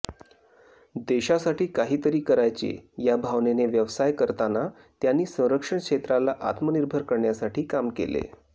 देशासाठी काहीतरी करायचे या भावनेने व्यवसाय करताना त्यांनी संरक्षण क्षेत्राला आत्मनिर्भर करण्यासाठी काम केले